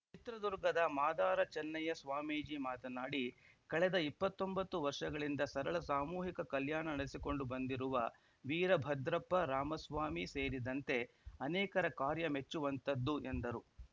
ಚಿತ್ರದುರ್ಗದ ಮಾದಾರ ಚನ್ನಯ್ಯ ಸ್ವಾಮೀಜಿ ಮಾತನಾಡಿ ಕಳೆದ ಇಪ್ಪತ್ತೊಂಬತ್ತು ವರ್ಷಗಳಿಂದ ಸರಳ ಸಾಮೂಹಿಕ ಕಲ್ಯಾಣ ನಡೆಸಿಕೊಂಡು ಬಂದಿರುವ ವೀರಭದ್ರಪ್ಪ ರಾಮಸ್ವಾಮಿ ಸೇರಿದಂತೆ ಅನೇಕರ ಕಾರ್ಯ ಮೆಚ್ಚುವಂಥದ್ದು ಎಂದರು